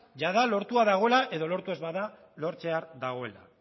jada lortua dagoela edo lortu ez bada lortzear dagoela